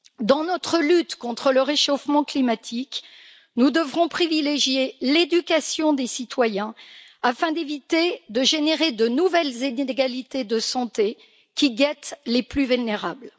Dans notre lutte contre le réchauffement climatique, nous devrons privilégier l'éducation des citoyens afin d'éviter de générer de nouvelles inégalités de santé qui guettent les plus vulnérables.